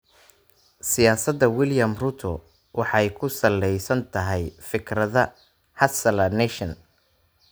Siyaasadda William Ruto waxay ku salaysan tahay fikradda "Hustler Nation."